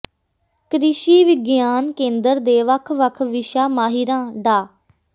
ਕ੍ਰਿਸ਼ੀ ਵਿਗਿਆਨ ਕੇਂਦਰ ਦੇ ਵੱਖ ਵੱਖ ਵਿਸ਼ਾ ਮਾਹਿਰਾਂ ਡਾ